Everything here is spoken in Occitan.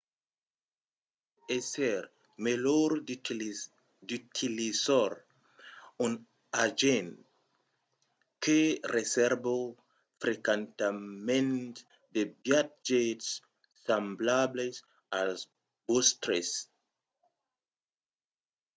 pòt èsser melhor d’utilizar un agent que resèrva frequentament de viatges semblables als vòstres